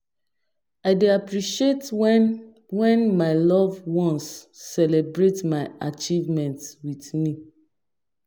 I dey appreciate when when my loved ones celebrate my achievements with me.